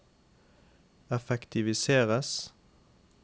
effektiviseres